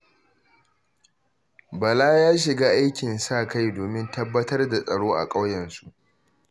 Bala ya shiga aikin sa-kai domin tabbatar da tsaro a ƙauyensu.